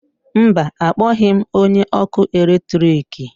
mba, akpọghị m onye ọkụ eletrik